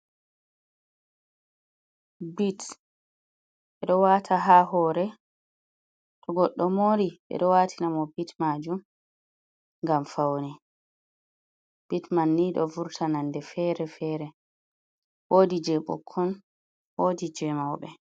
"Bits" ɓeɗo wata ha hore to goddo mori ɓeɗo watina mo bits majum ngam faune bits man ni ɗo vurta nonde fere fere wodi je bokkon wodi je mauɓe.